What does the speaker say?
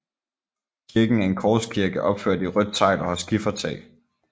Kirken er en korskirke opført i rødt tegl og har skifertag